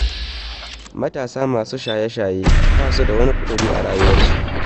Matasa masu shaye-shaye ba su da wani ƙudiri a rayuwarsu.